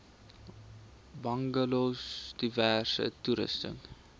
bungalows diverse toerusting